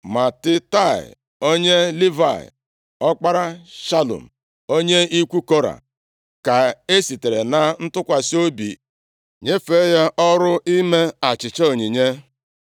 Matitaia, onye Livayị, ọkpara Shalum, onye ikwu Kora, ka esitere na ntụkwasị obi nyefee ya ọrụ ime achịcha onyinye.